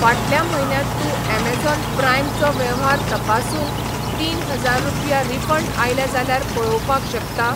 फाटल्या म्हयन्यात तू ऍमेझॉन प्राइम चो वेव्हार तपासून तीनहजार रुपया रिफंड आयल्या जाल्यार पळोवपाक शकता?